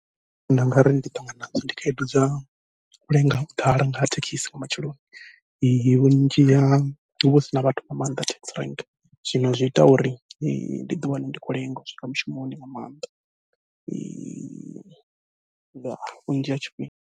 Zwine nda nga ri ndi a ṱangana nadzo ndi khaedu dza u lenga u ḓala nga ha thekhisi nga matsheloni, vhunzhi ha huvha hu sina vhathu nga maanḓa taxi rank zwino zwi ita uri ndi ḓi wane ndi khou lenga u swika mushumoni nga maanḓa, ngori vhunzhi ha tshifhinga.